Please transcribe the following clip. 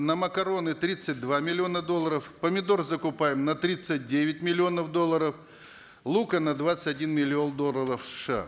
на макароны тридцать два миллиона долларов помидор закупаем на тридцать девять миллионов долларов лука на двадцать один миллион долларов сша